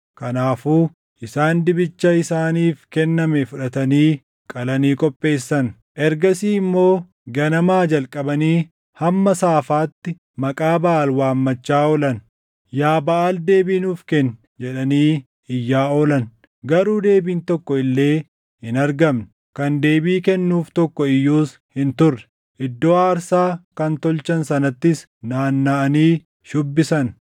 Kanaafuu isaan dibicha isaaniif kenname fudhatanii qalanii qopheessan. Ergasii immoo ganamaa jalqabanii hamma saafaatti maqaa Baʼaal waammachaa oolan. “Yaa Baʼaal deebii nuuf kenni!” jedhanii iyyaa oolan. Garuu deebiin tokko illee hin argamne; kan deebii kennuuf tokko iyyuus hin turre. Iddoo aarsaa kan tolchan sanattis naannaʼanii shubbisan.